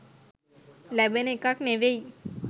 ලැබෙන එකක් නෙවෙයි.